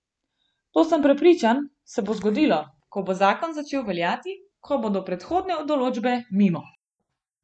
To, sem prepričan, se bo zgodilo, ko bo zakon začel veljati, ko bodo prehodne določbe mimo.